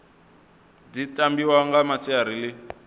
dzi tambiwa nga masiari ḽi